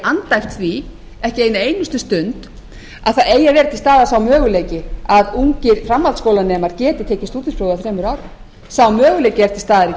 andæft því ekki eina einustu stund að það eigi að vera til staðar sá möguleiki að ungir framhaldsskólanemar geti tekið stúdentspróf á þremur árum sá möguleiki er til staðar í kerfinu